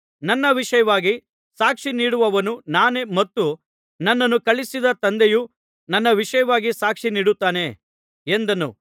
ನನ್ನ ವಿಷಯವಾಗಿ ಸಾಕ್ಷಿ ನೀಡುವವನು ನಾನೇ ಮತ್ತು ನನ್ನನ್ನು ಕಳುಹಿಸಿದ ತಂದೆಯೂ ನನ್ನ ವಿಷಯವಾಗಿ ಸಾಕ್ಷಿ ನೀಡುತ್ತಾನೆ ಎಂದನು